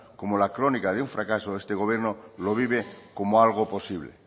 como la crónica de un fracaso este gobierno lo vive como algo posible